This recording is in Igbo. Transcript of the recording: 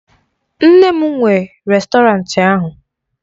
Nne m nwe rèstọrantị ahụ